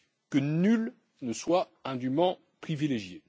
que nul ne soit indument privilégié.